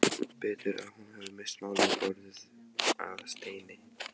Betur að hún hefði misst málið, orðið að steini.